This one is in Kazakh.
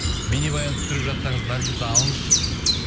бейнебаян түсіріп жатсаңыз наргизді алыңызшы дейді